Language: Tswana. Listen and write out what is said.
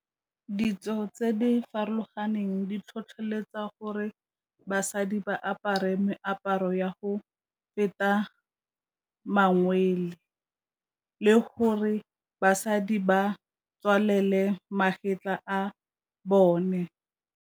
Ditso tse di farologaneng di tlhotlheletsa gore basadi ba apare meaparo ya go feta mangwele, le gore basadi ba tswalele magetlha a bone.